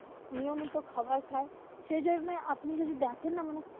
নিয়মিত খাবার খায়, সেই জন্যই আপনি যদি দেখেন না মানে,